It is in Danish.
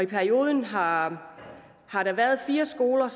periode har fire skoler